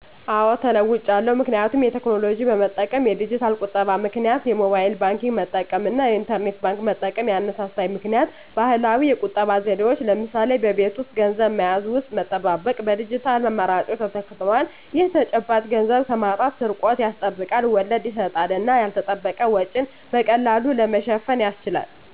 አዎ ተለዉጫለሁ ምክንያቱም የቴክኖሎጂ በመጠቀም (የዲጂታል ቁጠባ) -ምክንያት የሞባይል ባንክንግ መጠቀም እና የኢንተርኔት ባንክ መጠቀም። ያነሳሳኝ ምክኒያት ባህላዊ የቁጠባ ዘዴዎች (ለምሳሌ በቤት ውስጥ ገንዘብ መያዣ ውስጥ መጠባበቅ) በዲጂታል አማራጮች ተተክተዋል። ይህ ተጨባጭ ገንዘብን ከማጣት/ስርቆት ያስጠብቃል፣ ወለድ ይሰጣል እና ያልተጠበቀ ወጪን በቀላሉ ለመሸፈን ያስችላል።